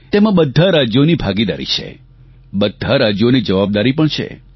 તેમાં બધાં રાજ્યોની ભાગીદારી છે બધાં રાજ્યોની જવાબદારી પણ છે